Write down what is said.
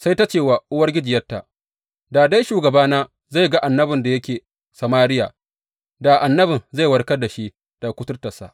Sai ta ce wa uwargijiyarta, Da dai shugabana zai ga annabin da yake Samariya, da annabin zai warkar da shi daga kuturtarsa.